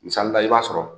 Misali la i b'a sɔrɔ